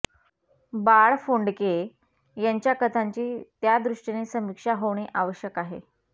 बाळ फोंडके यांच्या कथांची त्या दृष्टीने समीक्षा होणे आवश्यक आहे